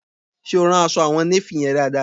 Ṣe o rán aṣọ àwọn néfì yẹn dáadáa?